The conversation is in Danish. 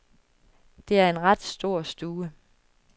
Det er en ret stor stue.